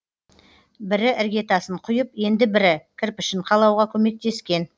бірі іргетасын құйып енді бірі кірпішін қалауға көмектескен